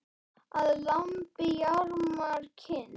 Að lambi jarmar kind.